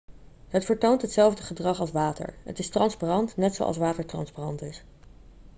het vertoont hetzelfde gedrag als water het is transparant net zoals water transparant is